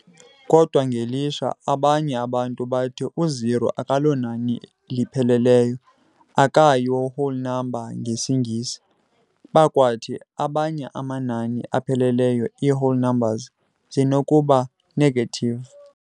Kodwa ngelishwa, abanye abantu bathi u-O akalonani lipheleleyo, akayo-whole number, ngesiNgesi, bakwathi abanye amanani apheleleyo, iiwhole numbers, zisenokuba negative.